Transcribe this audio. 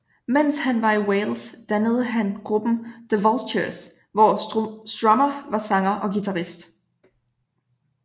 Mens han var i Wales dannede han gruppen The Vultures hvor Strummer var sanger og guitarist